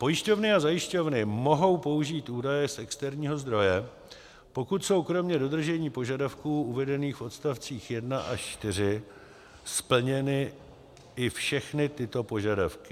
Pojišťovny a zajišťovny mohou použít údaje z externího zdroje, pokud jsou kromě dodržení požadavků uvedených v odstavcích 1 až 4 splněny i všechny tyto požadavky: